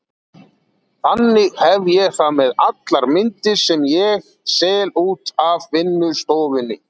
Þannig hef ég það með allar myndir sem ég sel út af vinnustofunni.